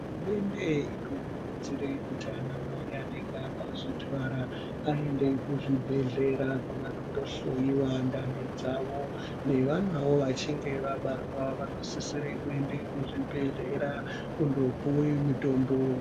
Hurumende inokurudzire kuti anamai anenge akazvitwara aende kuzvibhedhlera kwavanondo hloyiwa ndani dzavo, nevanawo vachinge vabarwa vanosisire kuende kuzvi bhedhlera kundopuwe mutombo.